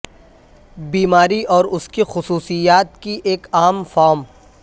بیماری اور اس کی خصوصیات کی ایک عام فارم